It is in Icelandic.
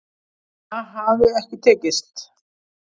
Það hafi ekki tekist